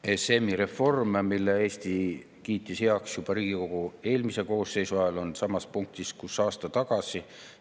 ESM‑i reform, mille Eesti kiitis heaks juba Riigikogu eelmise koosseisu ajal, on samas punktis, kus aasta tagasi.